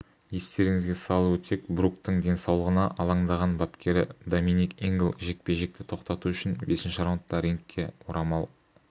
естеріңізге салып өтсек бруктің денсаулығына алаңдаған бапкері доминик ингл жекпе-жекті тоқтату үшін бесінші раундта рингке орамал